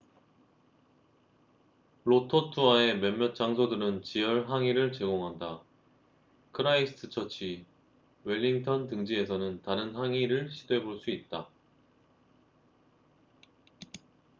로토루아의 몇몇 장소들은 지열 항이를 제공한다 크라이스트처치 웰링턴 등지에서는 다른 항이를 시도해 볼 수 있다